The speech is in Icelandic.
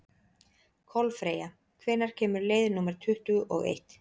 Kolfreyja, hvenær kemur leið númer tuttugu og eitt?